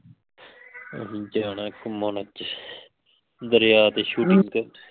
ਅਸੀਂ ਜਾਣਾ ਘੁੰਮਣ ਅੱਜ ਦਰਿਆ ਦੇ ਤੇ shooting ਕਰਨ